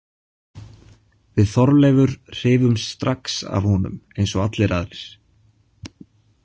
Við Þorleifur hrifumst strax af honum eins og allir aðrir.